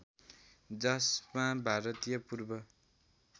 जसमा भारतीय पूर्व